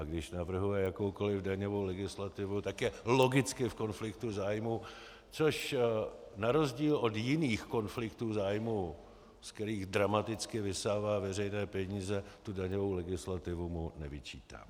A když navrhuje jakoukoliv daňovou legislativu, tak je logicky v konfliktu zájmů, což na rozdíl od jiných konfliktů zájmů, ze kterých dramaticky vysává veřejné peníze, tu daňovou legislativu mu nevyčítám.